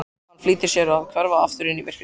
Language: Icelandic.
Hann flýtir sér að hverfa aftur inn í myrkrið.